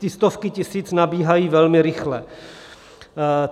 Ty stovky tisíc nabíhají velmi rychle.